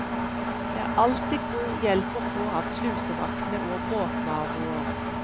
Det er alltid god hjelp å få av slusevaktene og båtnaboer.